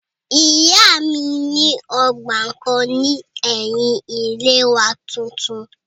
Ìyá mi ní ọgbà kan ní ẹ̀yin ilé wa tuntun